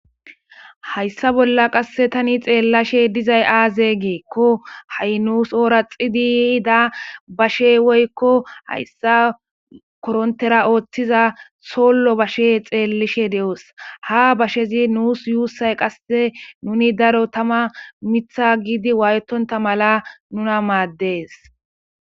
Hayssa bolla qasse tani xeellashe dizay aaze geekko ha'i nuus oora xidiy da bashe woykko hayssa korontera ooththiza sollo bashe xeellishe de'os ha bashezi nuus yuussay qasse nuni daro tama mitha giidi waayetonta mala nuna maaddees.